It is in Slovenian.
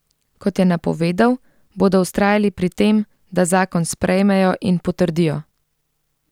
Kot je napovedal, bodo vztrajali pri tem, da zakon sprejmejo in potrdijo.